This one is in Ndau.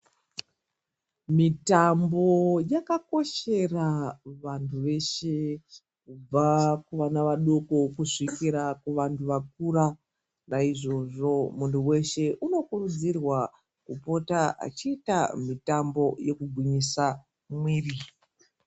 Mitambo yakakoshera kuvantu veshe kubva kuvana vadoko kusvikira kuvantu vakura. Naizvozvo muntu veshe unokurudzirwa kupota achiita mitambo yekugwinyisa mwiri.